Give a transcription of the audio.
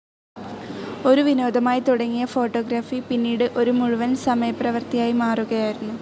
ഒരു വിനോദമായി തുടങ്ങിയ ഫോട്ടോഗ്രാഫി പിന്നീട് ഒരു മുഴുവൻ സമയ പ്രവർത്തി ആയി മാറുകയായിരുന്നു.